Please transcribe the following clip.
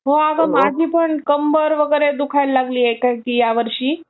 हो अगं, माझीपण कम्बर वगैरे दुखायला लागली आहे ह्या वर्षी. खूप त्रास होतोय